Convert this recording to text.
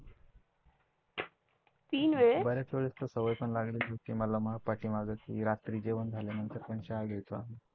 बर्याच वेळा त सवय पण लागली होती मला, की रात्री जेवण झाल्यानंतर पण चहा घ्याचो आम्ही.